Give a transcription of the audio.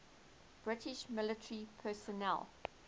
british military personnel